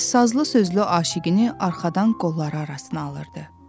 Və sazlı sözlü aşiqini arxadan qolları arasına alırdı.